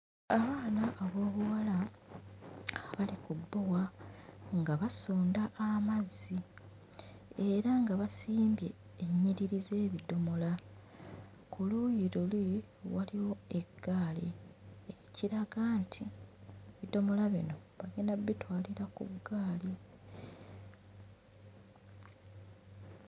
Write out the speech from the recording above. Abaana ab'obuwala nga bali ku bbowa nga basunda amazzi era nga basimbye ennyiriri z'ebidomola. Ku luuyi luli waliwo eggaali ekiraga nti ebidomola bino bagenda bbitwalira ku ggaali.